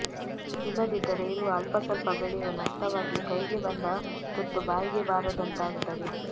ಇಲ್ಲದಿದ್ದರೆ ಇರುವ ಅಲ್ಪಸ್ವಲ್ಪ ಬೆಳೆಯೂ ನಷ್ಟವಾಗಿ ಕೈಗೆ ಬಂದ ತುತ್ತು ಬಾಯಿಗೆ ಬಾರದಂತಾಗುತ್ತದೆ